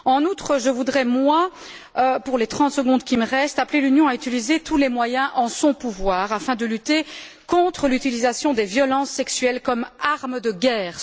En outre, je voudrais, moi, pour les trente secondes qui me restent, appeler l'Union à utiliser tous les moyens en son pouvoir afin de lutter contre l'utilisation des violences sexuelles comme arme de guerre.